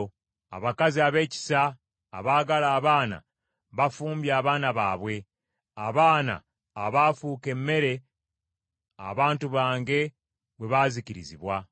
Abakazi ab’ekisa abaagala abaana bafumbye abaana baabwe; abaana abaafuuka emmere abantu bange bwe baazikirizibwa.